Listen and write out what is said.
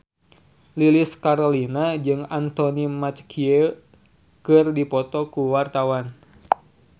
Lilis Karlina jeung Anthony Mackie keur dipoto ku wartawan